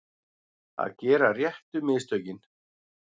Að gera réttu mistökin